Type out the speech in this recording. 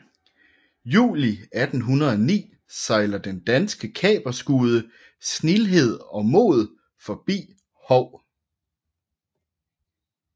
Juli 1809 sejler den danske kaperskude Snildhed og Mod forbi Hou